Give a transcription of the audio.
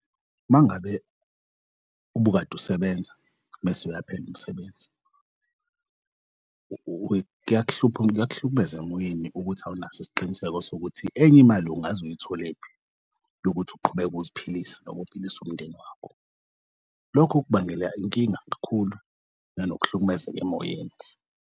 Mangabe ubukade usebenza bese uyaphela umsebenzi, kuyakuhlukumeza emoyeni ukuthi awunaso isiqiniseko sokuthi enye imali ungaze uyitholephi yokuthi uqhubeke ukuziphilise noma uphilise umndeni wakho. Lokho kubangela inkinga kakhulu nanokuhlukumezeka emoyeni.